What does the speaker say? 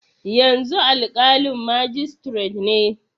Yanzu alƙalin majistiret ne.